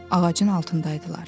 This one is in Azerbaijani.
Ağacın altındaydılar.